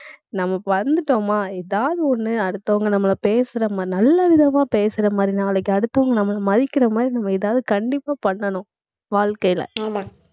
நமக்கு வந்துட்டோமா எதாவது ஒண்ணு அடுத்தவங்க நம்மளை பேசறமா~ நல்ல விதமா பேசற மாதிரி, நாளைக்கு அடுத்தவங்க நம்மளை மதிக்கிற மாதிரி, நம்ம எதாவது கண்டிப்பா பண்ணணும். வாழ்க்கையிலே